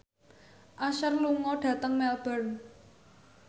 Usher lunga dhateng Melbourne